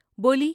بولی ۔